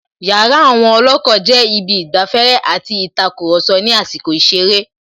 Yàrá àwon Olòkó jé Ibi īgbaféré àti ītakùròso ní àsīkò īseré